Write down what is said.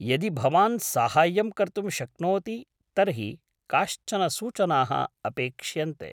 यदि भवान् साहाय्यं कर्तुं शक्नोति तर्हि काश्चन सूचनाः अपेक्ष्यन्ते।